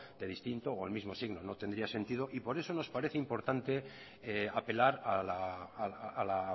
de distinto o el mismo signo no tendría sentido y por eso nos parece importante apelar a la